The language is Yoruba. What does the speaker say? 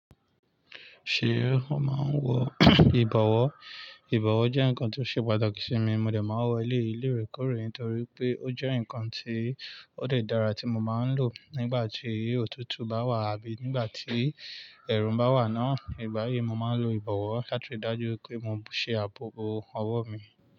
Ṣé ó máa ń wọ ìbọ̀wọ́? Ìbọ̀wọ́ jẹ́ nǹkan tó ṣe pàtàkì sí mi. Mo dè máa wọ eléyi loorekóorè torí pé ó jẹ́ nǹkan ti ó de dára tí mo máa ń lò nígbà tí òtútù bá wà àbí nígbà tí ẹ̀rùń bá wà náà. Ìgbá yi mo máa ń lo ìbọ̀wọ́ láti dájú pé mo ṣe ààbòbo ọwọ́ mi.